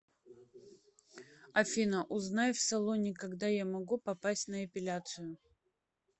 афина узнай в салоне когда я могу попасть на эпиляцию